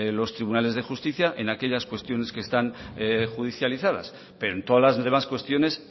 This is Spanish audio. los tribunales de justicia en aquellas cuestiones que están judicializadas pero en todas las demás cuestiones